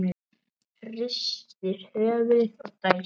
Hristir höfuðið og dæsir.